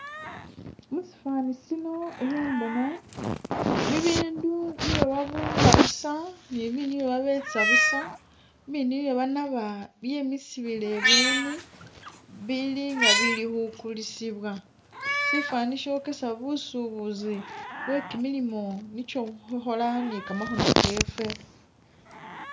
Musifani sino ikhembona bibindu byesi babumba buusa, ne bibindi byesi babetsa buusa, i'bindi byesi banaaba bemisibwile ibweni bili nga ibili khukulisibwa sifani shokesa busubuzi bwe kimilimo nicho khukhola ni kamakhono kefwe.